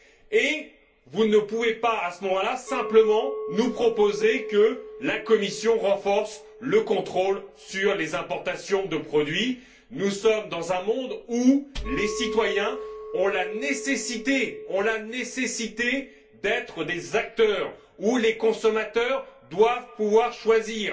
et vous ne pouvez pas, à ce moment là, nous proposer simplement que la Commission renforce le contrôle sur les importations de produits. Nous sommes dans un monde où les citoyens ont besoin d'être des acteurs, où les consommateurs doivent pouvoir choisir.